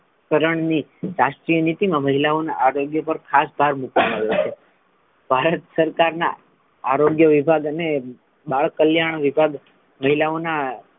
કરણની રાષ્ટ્રીય નીતિ મા મહિલાઓના આરોગ્ય પર ખાસ ભાર મુકવામાં આવ્યો છે ભારત સરકાર ના આરોગ્ય વિભાગ અને બાળ કલ્યાણ વિભાગ મહિલાઓના,